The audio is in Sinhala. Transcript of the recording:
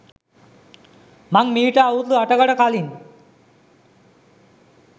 මං මීට අවුරුදු අටකට කලින්